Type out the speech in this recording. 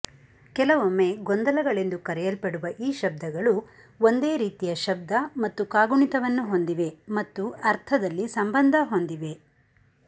ಕೆಲವೊಮ್ಮೆ ಗೊಂದಲಗಳೆಂದು ಕರೆಯಲ್ಪಡುವ ಈ ಶಬ್ದಗಳು ಒಂದೇ ರೀತಿಯ ಶಬ್ದ ಮತ್ತು ಕಾಗುಣಿತವನ್ನು ಹೊಂದಿವೆ ಮತ್ತು ಅರ್ಥದಲ್ಲಿ ಸಂಬಂಧ ಹೊಂದಿವೆ